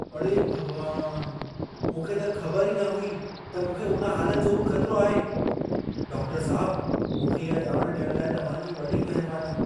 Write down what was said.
अड़े भॻवान! मूंखे त ख़बर ई न हुई त मूंखे उन हालत जो बि ख़तिरो आहे। डाक्टरु साहिब, मूंखे इहा ॼाण ॾियण लाइ तव्हां जी वॾी महरबानी।